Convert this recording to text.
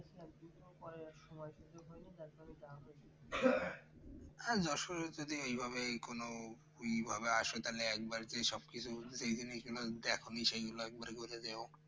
আজ যশোরে এ যদি এভাবে কোন ওইভাবে আসো তাহলে একবার করে সবকিছু যেগুলো দেখনি সেগুলো একবার ঘুরে যেও